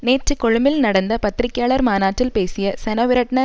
நேற்று கொழும்பில் நடந்த பத்திரிகையாளர் மாநாட்டில் பேசிய செனவிரட்ன